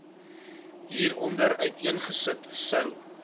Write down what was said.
hieronder uiteengesit sou